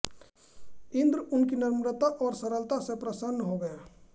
इन्द्र उनकी नम्रता और सरलता से प्रसन्न हो गए